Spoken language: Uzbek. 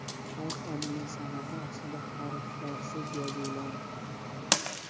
Xalq amaliy san’ati aslida harflarsiz yozuvlardir.